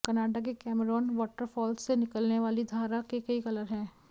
Canada के Cameron water falls से निकलने वाली धारा के कई कलर हैं